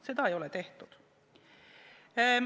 Seda ei ole tehtud.